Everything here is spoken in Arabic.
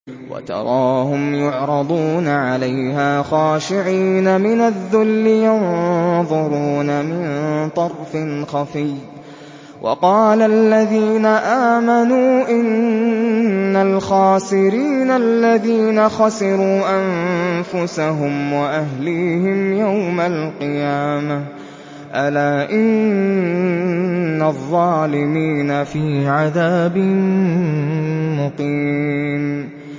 وَتَرَاهُمْ يُعْرَضُونَ عَلَيْهَا خَاشِعِينَ مِنَ الذُّلِّ يَنظُرُونَ مِن طَرْفٍ خَفِيٍّ ۗ وَقَالَ الَّذِينَ آمَنُوا إِنَّ الْخَاسِرِينَ الَّذِينَ خَسِرُوا أَنفُسَهُمْ وَأَهْلِيهِمْ يَوْمَ الْقِيَامَةِ ۗ أَلَا إِنَّ الظَّالِمِينَ فِي عَذَابٍ مُّقِيمٍ